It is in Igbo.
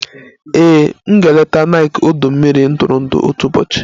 Ee, maa m ga-eleta Nike ọdọ mmiri ntụrụndụ otu ụbọchị